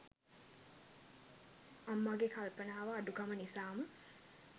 අම්මාගේ කල්පනාව අඩුකම නිසාම